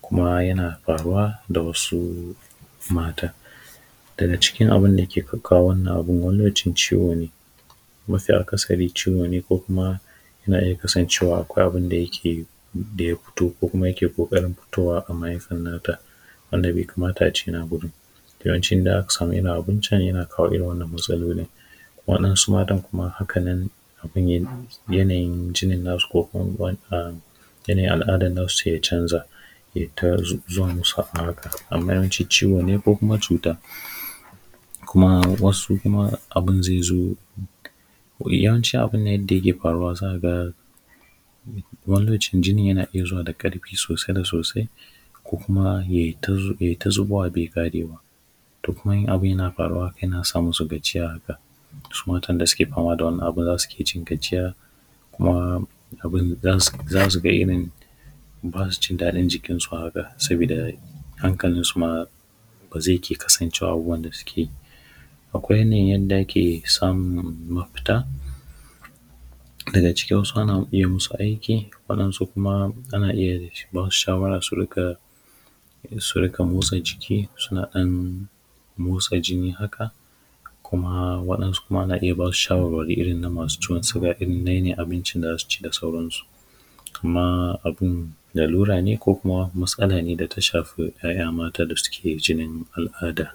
kuma yana faruwa da wasu mata daga cikin abun da yake kawo wa’innan abun wani lokacin ciwo ne mafi’akasari ciwo ne ko kuma yana iya kasancewa akwai abun da ya ke da ya fito ko kuma yake ƙoƙarin fitowa a mahaifan na ta wanda bai kamata a ce yana lokaci da aka samu irin abincin ya na kawo irin wannan matsalolin waɗansu matan kuma hakanan yanayin jinin na su ko kuma yanayin al’adan na su ya canza yai ta zuwa musu a haka amma yawanci ciwo ne ko kuma cuta kuma wasu kuma abun zai zo yawanci abun nan yadda yake faruwa za ka ga wani lokaci jinin yana iya zuwa da ƙarfi sosai da sosai ko kuma yai ta zubowa bai ƙarewa to kuma in abun na faruwa haka yana sa musu gajiya haka wasu matan da suke fama da wannan abun za su ke jin gajiya kuma abun za su ga irin ba su jin daɗin jikin su haka saboda hankalin su ma ba zai iya kasancewa wanda su ke akwai yanayin yanda ake samun mafita daga cikinsu ana iya musu aiki waɗansu kuma ana iya ba su shawara su riƙƙa motsa jiki suna don motsa jini haka kuma waɗansu kuma ana iya ba su shawarwari irin na masu ciwon siga irin dai na abincin da za su ci da sauran su kuma abun lalura ne ko kuma matsala ne da ta shafi ‘ya’ya mata da suke jinin al’ada